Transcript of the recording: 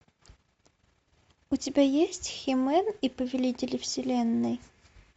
у тебя есть хи мен и повелители вселенной